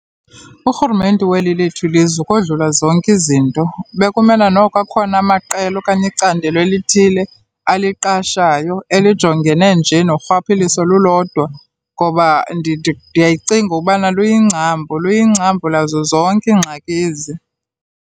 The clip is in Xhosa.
Urhulumente weli lethu ilizwe ukodlula zonke izinto bekumela noko akhona amaqela okanye icandelo elithile aliqashayo elijongene nje norhwaphilizo lulodwa ngoba ndiyayicinga ubana luyingcambu, luyingcambu lazo zonke iingxaki ezi.